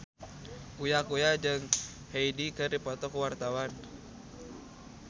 Uya Kuya jeung Hyde keur dipoto ku wartawan